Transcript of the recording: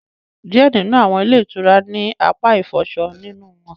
Diẹ nínú awọn ilé itúrá ni apá ifọṣọ nínú wọn